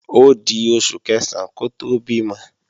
Ódi oṣù Kẹ̀sán kó tó bímọ